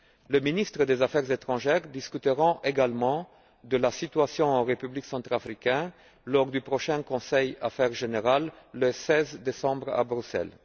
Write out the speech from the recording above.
Les ministres des affaires étrangères discuteront également de la situation en République centrafricaine lors du prochain Conseil Affaires générales le 16 décembre, à Bruxelles.